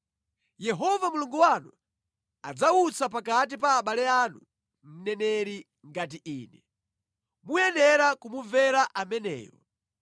Yehova Mulungu wanu adzawutsa pakati pa abale anu mneneri ngati ine. Muyenera kumumvera ameneyo.